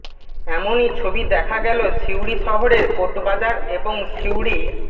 এমনই ছবি দেখা গেল সিউড়ি শহরের কোর্টবাজার এবং সিউড়ি